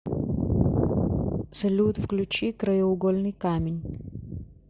салют включи краеугольный камень